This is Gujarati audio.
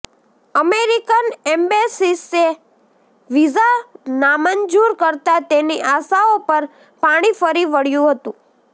અમેરિકન એમ્બેસીએ વીઝા નામંજૂર કરતાં તેની આશાઓ પર પાણી ફરી વળ્યું હતું